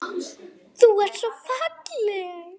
Þú ert svo falleg.